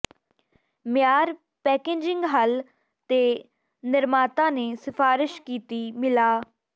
ਮਿਆਰ ਪੈਕੇਜਿੰਗ ਹੱਲ ਤੇ ਨਿਰਮਾਤਾ ਨੇ ਸਿਫਾਰਸ਼ ਕੀਤੀ ਮਿਲਾ